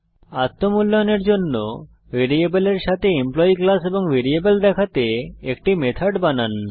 আত্ম মূল্যায়নের জন্য ভ্যারিয়েবলের সাথে এমপ্লয়ী ক্লাস এবং ভ্যারিয়েবল দেখাতে একটি মেথড বানান